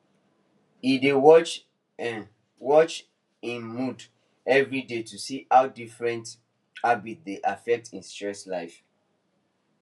he dey watch em watch em mood every day to see how different habits dey affect his stress level